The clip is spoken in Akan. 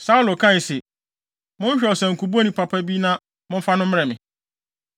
Saulo kae se, “Monhwehwɛ ɔsankubɔni papa bi na momfa no mmrɛ me.”